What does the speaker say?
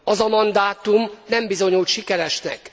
Az a mandátum nem bizonyult sikeresnek.